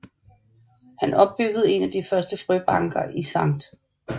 Han opbyggede en af de første frøbanker i St